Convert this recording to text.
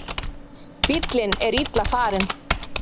Bíllinn er illa farinn